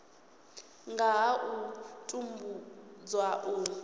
nga ha u tambudzwa u